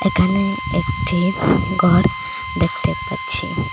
এখানে একটি গর দেখতে পাচ্ছি।